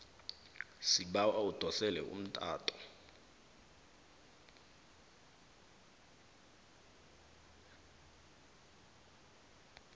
sibawa udosele umtato